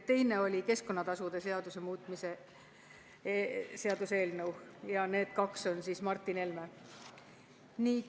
Viies oli keskkonnatasude seaduse muutmise seaduse eelnõu ja need kaks on siis Martin Helme esitleda.